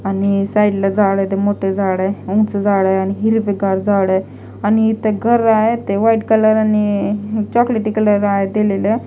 आणि साईडला झाड आहेत मोठे झाड आहे उंच झाड आहे आणि हिरवीगार झाड आहे आणि इथं घर आहे ते व्हाईट कलर आणि चॉकलेटी कलर आहे दिलेलं.